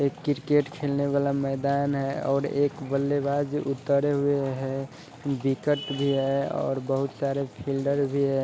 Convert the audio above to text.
ये क्रिकेट खेलने वाला मैदान है और एक बल्लेबाज उतरे हुए हैं विकट भी है और बहुत सारे फील्डर भी हैं।